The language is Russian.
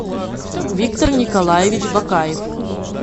виктор николаевич бокаев